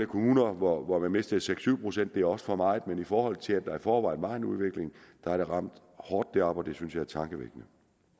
kommuner hvor hvor man mistede seks syv procent det er også for meget men i forhold til at der i forvejen var en udvikling har det ramt hårdt deroppe og det synes jeg er tankevækkende